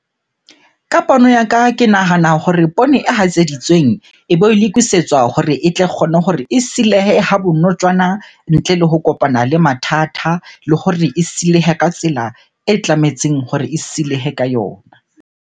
Ka pono ya ka, ke nahana hore poone e hatseditsweng ebe lokisetswa hore e tle kgone hore e silehe ha bonotjwana ntle le ho kopana le mathata. Le hore e silehe ka tsela e tlametseng hore e silehe ka yona.